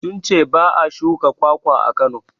Sun ce ba a shuka kwakwa a Kano.